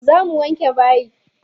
Zo mu wanke bayi.